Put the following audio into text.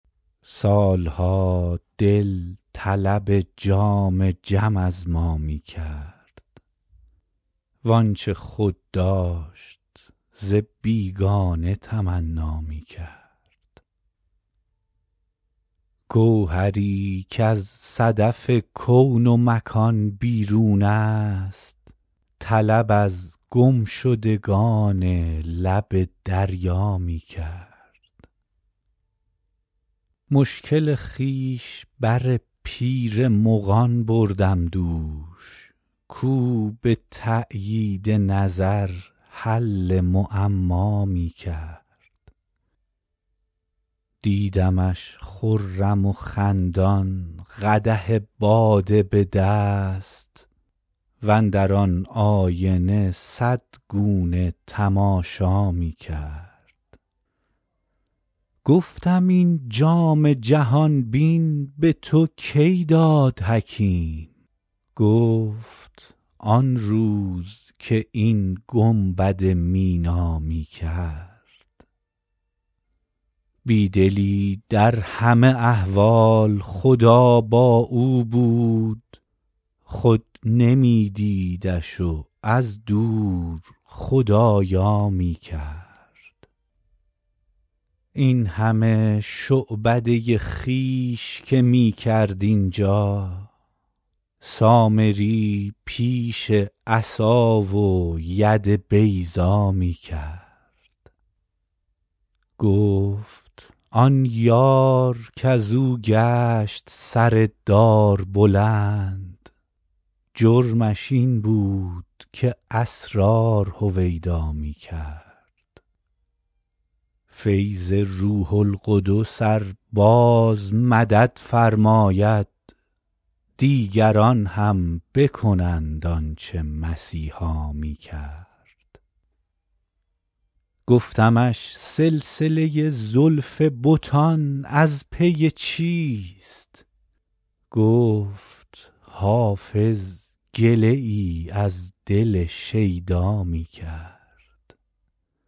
سال ها دل طلب جام جم از ما می کرد وآنچه خود داشت ز بیگانه تمنا می کرد گوهری کز صدف کون و مکان بیرون است طلب از گمشدگان لب دریا می کرد مشکل خویش بر پیر مغان بردم دوش کاو به تأیید نظر حل معما می کرد دیدمش خرم و خندان قدح باده به دست واندر آن آینه صد گونه تماشا می کرد گفتم این جام جهان بین به تو کی داد حکیم گفت آن روز که این گنبد مینا می کرد بی دلی در همه احوال خدا با او بود او نمی دیدش و از دور خدارا می کرد این همه شعبده خویش که می کرد اینجا سامری پیش عصا و ید بیضا می کرد گفت آن یار کز او گشت سر دار بلند جرمش این بود که اسرار هویدا می کرد فیض روح القدس ار باز مدد فرماید دیگران هم بکنند آن چه مسیحا می کرد گفتمش سلسله زلف بتان از پی چیست گفت حافظ گله ای از دل شیدا می کرد